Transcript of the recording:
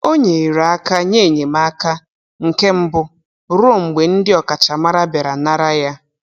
O nyere aka nye enyemaka nke mbụ ruo mgbe ndị ọkachamara bịara nara ya.